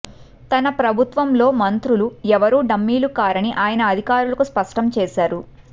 తన ప్రభుత్వంలో మంత్రులు ఎవరూ డమ్మీలు కారని ఆయన అధికారులకు స్పష్టంచేశారు